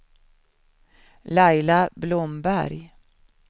Laila Blomberg